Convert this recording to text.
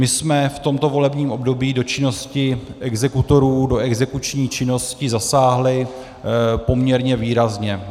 My jsme v tomto volebním období do činnosti exekutorů, do exekuční činnosti, zasáhli poměrně výrazně.